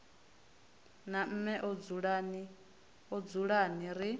na mme a dzulani ri